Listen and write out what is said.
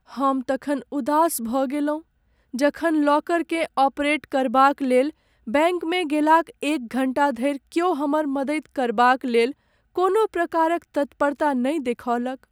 हम तखन उदास भऽ गेलहुँ जखन लॉकरकेँ ऑपरेट करबाक लेल बैंकमे गेलाक एक घण्टा धरि क्यो हमर मदैत करबाक लेल कोनो प्रकारक तत्परता नहि देखौलक।